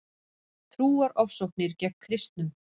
Trúarofsóknir gegn kristnum